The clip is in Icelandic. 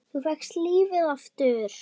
Þú fékkst lífið aftur.